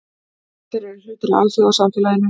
Allir eru hluti af alþjóðasamfélaginu.